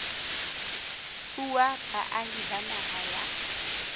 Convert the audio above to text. fuwa baahi ba naha ya